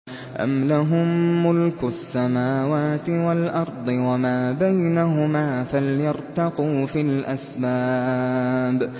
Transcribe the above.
أَمْ لَهُم مُّلْكُ السَّمَاوَاتِ وَالْأَرْضِ وَمَا بَيْنَهُمَا ۖ فَلْيَرْتَقُوا فِي الْأَسْبَابِ